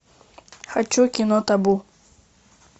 хочу кино табу